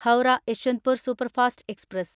Howrah Yesvantpur superfast express